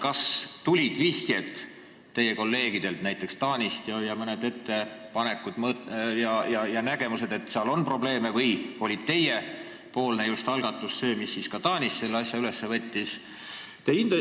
Kas vihjeid, et seal on probleeme, ja ettepanekuid tuli ka näiteks teie Taani kolleegidelt või oli just teie algatus see, mille peale see asi Taanis üles võeti?